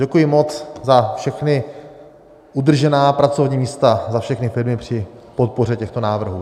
Děkuji moc za všechna udržená pracovní místa, za všechny firmy při podpoře těchto návrhů.